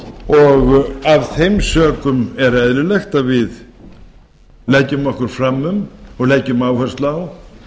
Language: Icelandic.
og af þeim sökum er eðlilegt að við leggjum okkur fram um og leggjum áherslu á